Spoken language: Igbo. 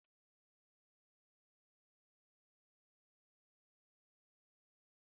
Nne Tina na-ese ite osikapa jellof kacha mma n'Imo steeti